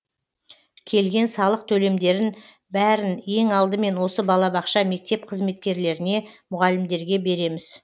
келген салық төлемдерін бәрін ең алдымен осы балабақша мектеп қызметкерлеріне мұғалімдерге береміз